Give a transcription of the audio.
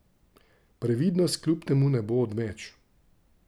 Previdnost kljub temu ne bo odveč.